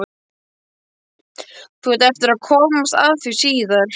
Þú átt eftir að komast að því síðar.